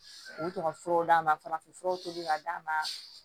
U tɔgɔ furaw d'a ma farafinfuraw tobi ka d'a ma